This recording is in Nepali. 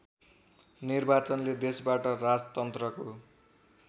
निर्वाचनले देशबाट राजतन्त्रको